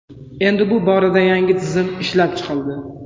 Endi bu borada yangi tizim ishlab chiqildi.